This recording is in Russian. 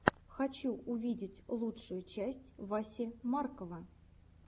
хочу увидеть лучшую часть васи маркова